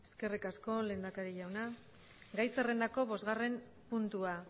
eskerrik asko lehendakari jauna gai zerrendako bostgarren puntua